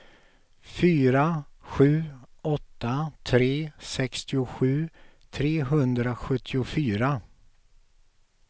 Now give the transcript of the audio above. fyra sju åtta tre sextiosju trehundrasjuttiofyra